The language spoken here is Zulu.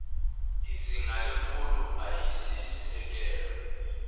izinga lemfundo eyisisekelo